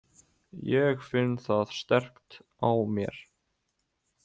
Ég finn það sterkt á mér.